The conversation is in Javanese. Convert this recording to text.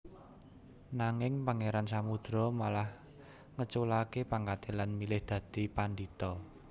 Nanging Pangeran Samudro malah ngeculake pangkate lan milih dadi pandhita